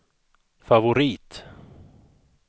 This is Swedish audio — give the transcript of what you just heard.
favorit